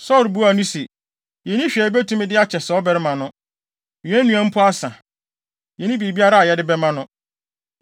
Saulo buaa no se, “Yenni hwee a yebetumi de akyɛ saa ɔbarima no, yɛn nnuan mpo asa, yenni biribiara a yɛde bɛma no.”